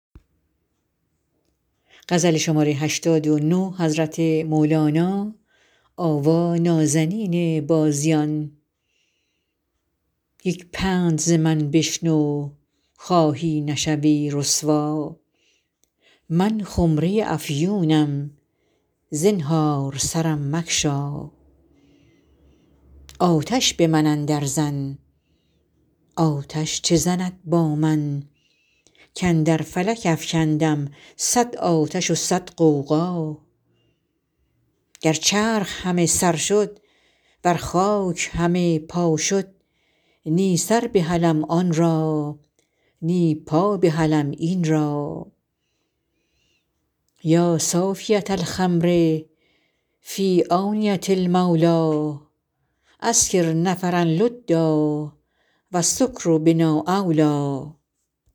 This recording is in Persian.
یک پند ز من بشنو خواهی نشوی رسوا من خمره ی افیونم زنهار سرم مگشا آتش به من اندرزن آتش چه زند با من کاندر فلک افکندم صد آتش و صد غوغا گر چرخ همه سر شد ور خاک همه پا شد نی سر بهلم آن را نی پا بهلم این را یا صافیه الخمر فی آنیه المولی اسکر نفرا لدا و السکر بنا اولی